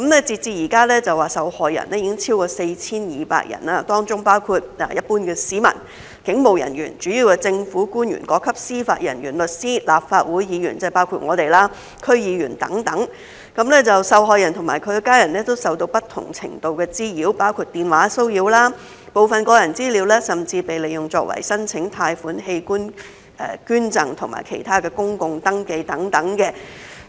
截至現時，受害人已經超過 4,200 人，當中包括一般市民、警務人員、主要的政府官員、各級司法人員、律師、立法會議員——即包括我們——區議員等，受害人和其家人都受到不同程度的滋擾，包括電話騷擾、部分個人資料甚至被利用作為申請貸款、器官捐贈和其他公共登記等。